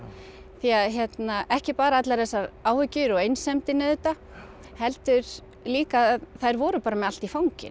því að ekki bara allar þessar áhyggjur og einsemdin auðvitað heldur líka að þær voru bara með allt í fanginu